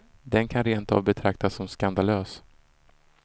Den kan rentav betraktas som skandalös.